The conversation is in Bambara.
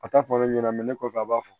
A t'a fɔ ne ɲɛna ne kɔfɛ a b'a fɔ